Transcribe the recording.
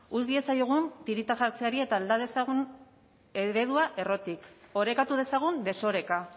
utz diezaiogun tirita jartzeari eta alde dezagun eredua errotik orekatu dezagun desoreka